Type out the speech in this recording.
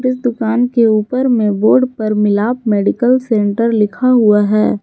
इस दुकान के ऊपर में बोर्ड पर मिलाप मेडिकल सेंटर लिखा हुआ है।